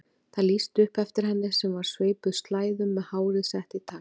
Það lýsti upp eftir henni sem var sveipuð slæðum með hárið sett í tagl.